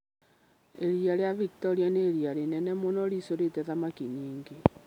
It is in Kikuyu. Iria rĩa Victoria nĩ iria rĩnene mũno rĩiyũrĩte thamaki nyingĩ.